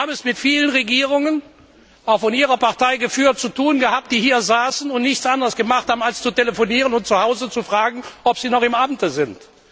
Wir haben es mit vielen Regierungen auch von Ihrer Partei früher zu tun gehabt, die hier saßen und nichts anderes taten als zu telefonieren und zuhause zu fragen, ob sie noch im Amte sind.